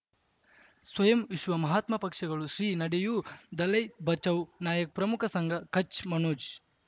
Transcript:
ಸ್ವಯಂ ವಿಶ್ವ ಮಹಾತ್ಮ ಪಕ್ಷಗಳು ಶ್ರೀ ನಡೆಯೂ ದಲೈ ಬಚೌ ನಾಯಕ ಪ್ರಮುಖ ಸಂಘ ಕಚ್ ಮನೋಜ್